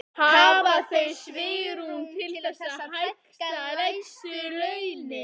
Hafa þau svigrúm til þess að hækka lægstu launin?